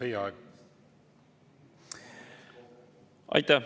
Aitäh!